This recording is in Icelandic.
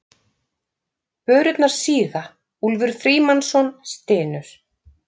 Börurnar síga, Úlfur Frímannsson stynur.